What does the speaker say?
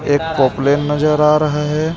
एक पोपलेन नजर आ रहा है.